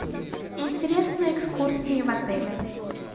интересные экскурсии в отеле